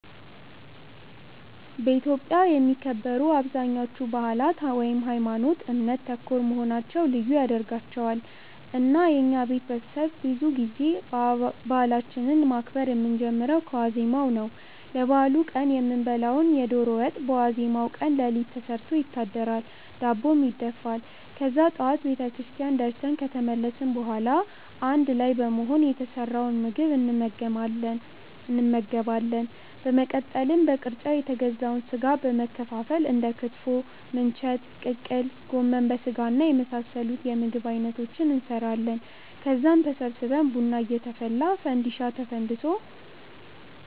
በኢትዮጵያ የሚከበሩ አብዛኞቹ በአላት ሀይማኖት ( እምነት) ተኮር መሆናቸው ልዩ ያደርጋቸዋል። እና የኛ ቤተሰብ ብዙ ጊዜ በአላችንን ማክበር የምንጀምረው ከዋዜማው ነው። ለበአሉ ቀን የምንበላውን የዶሮ ወጥ በዋዜማው ቀን ሌሊት ተሰርቶ ይታደራል፤ ዳቦም ይደፋል። ከዛ ጠዋት ቤተክርስቲያን ደርሰን ከተመለስን በኋላ አንድ ላይ በመሆን የተሰራውን ምግብ እንመገባለን። በመቀጠል በቅርጫ የተገዛውን ስጋ በመከፋፈል እንደ ክትፎ፣ ምንቸት፣ ቅቅል፣ ጎመን በስጋና የመሳሰሉት የምግብ አይነቶችን እንሰራለን። ከዛም ተሰብስበን ቡና እየተፈላ፣ ፈንዲሻ ተፈንድሶ፣